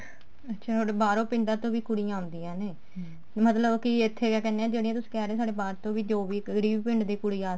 ਅੱਛਾ ਥੋੜੇ ਬਾਹਰੋਂ ਪਿੰਡਾਂ ਤੋਂ ਵੀ ਕੁੜੀਆਂ ਆਉਂਦੀਆਂ ਨੇ ਮਤਲਬ ਕੇ ਇੱਥੇ ਕੀ ਕਹਿਨੇ ਹਾਂ ਜਿਹੜਾ ਤੁਸੀਂ ਕਹਿ ਰਹੇ ਹੋ ਬਾਹਰ ਤੋਂ ਜੋ ਵੀ ਜਿਹੜੇ ਵੀ ਪਿੰਡ ਤੋਂ ਕੁੜੀ ਆ